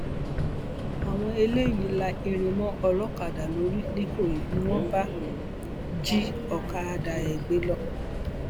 àwọn eléyìí la irin mọ olókàdá lórí nìkòyí ni wọn bá jí ọkadà ẹ gbé lọ